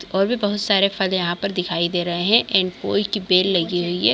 और भी बहुत सारे फल यहाँ पर दिखाई दे रहे है एन्ड कोई की बेल लगी हुई है।